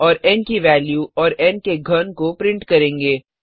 और एन की वेल्यू और एन के घन को प्रिंट करेंगे